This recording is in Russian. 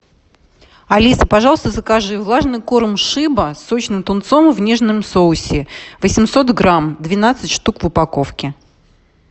алиса пожалуйста закажи влажный корм шеба с сочным тунцом в нежном соусе восемьсот грамм двенадцать штук в упаковке